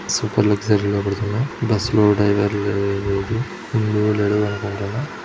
super luxury లో వెళ్తున్న bus లో డ్రైవర్ లేడు ఉన్నాడో లేడో కనబడటంలా--